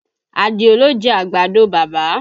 Àdìó ló jẹ àgbàdo bàbá